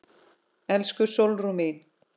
Elsku Sólrún mín.